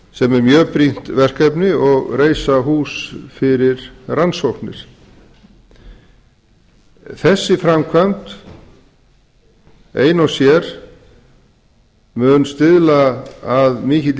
sem er mjög brýnt verkefni og reisa hús fyrir rannsóknir þessi framkvæmd ein og sér mun stuðla að mikilli